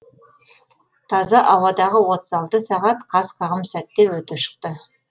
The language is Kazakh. таза ауадағы отыз алты сағат қас қағым сәтте өте шықты